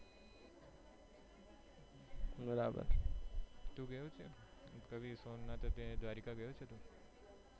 તું ગયો છે સોમનાથ, દ્વારકા ગયો છે તું?